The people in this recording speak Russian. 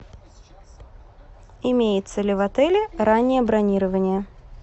имеется ли в отеле раннее бронирование